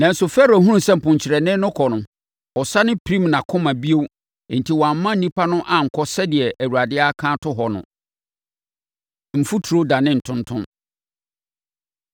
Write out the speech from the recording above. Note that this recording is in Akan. Nanso, Farao hunuu sɛ mponkyerɛne no kɔ no, ɔsane pirim nʼakoma bio enti wamma nnipa no ankɔ sɛdeɛ Awurade aka ato hɔ no. Mfuturo Dane Ntontom